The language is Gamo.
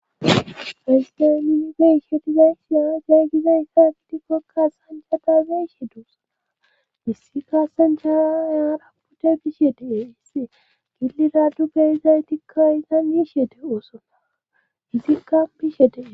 esdemibiishe dizeyshiya zeeygizeyssa gidikkokkas hanjata zeishe duusana issi kaassen chaa yaara pute bishe dee hisse gilli dadu beyizay tikka iza miishete oosona izikka biishe dee